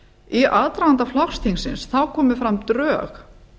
í aðdraganda flokksþingsins komu fram drög